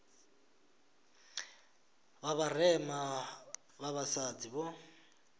vha vharema vha vhasadzi vho